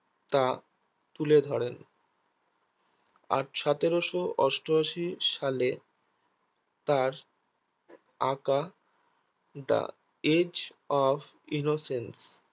তা তুলে ধরেন আর সতেরোশো অষ্টাশি সালে তার আঁকা the age of innocence